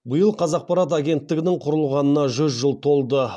биыл қазақпарат агенттігінің құрылғанына жүз жыл толды